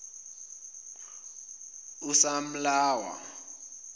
usamlawa